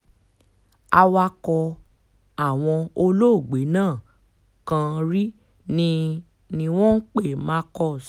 awakọ̀ àwọn olóògbé nígbà kan rí ni ni wọ́n pe marcus